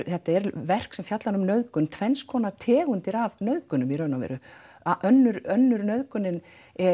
þetta er verk sem fjallar um nauðgun tvenns konar tegundir af nauðgunum í raun og veru önnur önnur nauðgunin